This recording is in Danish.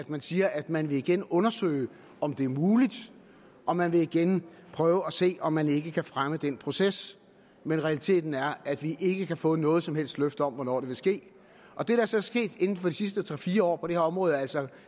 man siger at man igen vil undersøge om det er muligt og man vil igen prøve at se om man ikke kan fremme den proces men realiteten er at vi ikke kan få noget som helst løfte om hvornår det vil ske det der så er sket inden for de sidste tre fire år på det her område er altså